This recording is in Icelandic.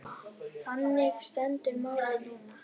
Þannig stendur málið núna.